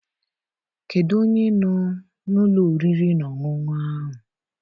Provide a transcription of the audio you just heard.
Kedụ onye nọ n'ụlọ oriri na ọṅụṅụ ahụ?